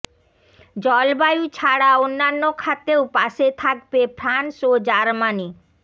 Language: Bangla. জলবায়ু ছাড়া অন্যান্য খাতেও পাশে থাকবে ফ্রান্স ও জার্মানি